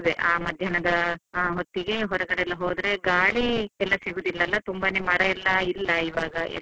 ಆ ಮಧ್ಯಾಹ್ನದ ಹೊತ್ತಿಗೆ ಹೊರಗಡೆ ಹೋದ್ರೆ ಗಾಳಿ ಎಲ್ಲಾ ಸಿಗೋದಿಲ್ಲ ಅಲ್ಲ ತುಂಬಾನೇ ಮರಯೆಲ್ಲ ಇಲ್ಲ ಇವಾಗ.